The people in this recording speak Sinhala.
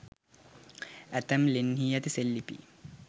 ඇතැම් ලෙන්හි ඇති සෙල්ලිපි